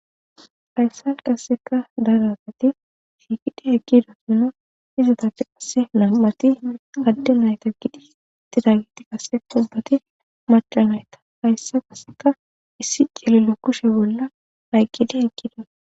hayssan qasseka daragati shiikidi heqkido sino izatapfe asse nam7ati adde nayta gidi tidagiti qase qobbati madha nayta hayssa qasseka issi celilo kushe bolla hayqqidi heqkida